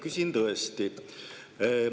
Küsin tõesti.